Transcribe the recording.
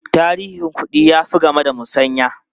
Tarihin kuɗi ya fi game da musanya.